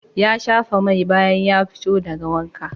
Ya shafa mai bayan ya fito daga wanka.